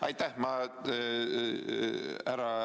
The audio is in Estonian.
Aitäh!